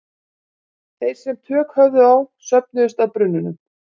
Þeir sem tök höfðu á söfnuðust að brunnunum.